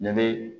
Ne be